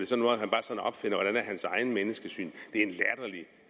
hans eget menneskesyn